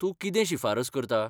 तूं कितें शिफारस करता?